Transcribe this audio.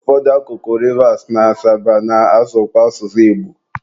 ụfọdụ akụkụ Rivas na Asaba na-asụkwa asụsụ Igbo.